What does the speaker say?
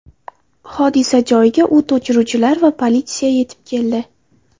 Hodisa joyiga o‘t o‘chiruvchilar va politsiya yetib keldi.